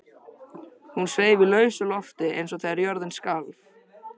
Hún sveif í lausu lofti eins og þegar jörðin skalf.